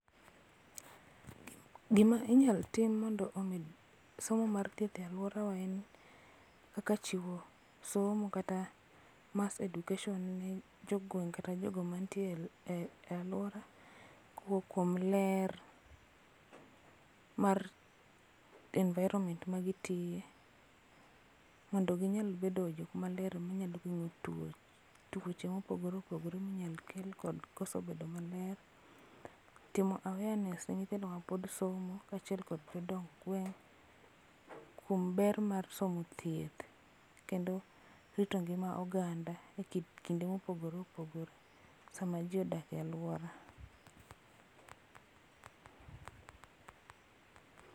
Gima inyal tim mondo omed somo mar thieth e aluorawa en kaka chiwo somo kata mass education ne jogweng' kata jogo mantiere e aluora kowuok kuom ler mar environment magitiye mondo ginyal bedo jok maler ma nyalo gengo tuoche mopogore opogore minyal kel kod koso bedo maler. Timo awareness ne nyithindo mapod somo kachiel gi jodong gweng' kuom ber mar somo thieth kendo rito ngima oganda e kinde ma opogore opogore sama jii odake aluora.